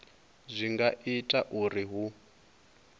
zwi nga ita uri hu